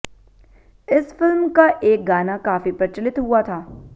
इस फ़िल्म का एक गाना काफी प्रचलित हुआ था